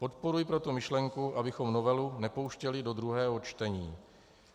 Podporuji proto myšlenku, abychom novelu nepouštěli do druhého čtení.